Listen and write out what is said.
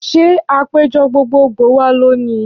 Ṣé àpéjọ gbogbo gbòò wà lónìí?